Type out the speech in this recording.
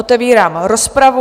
Otevírám rozpravu.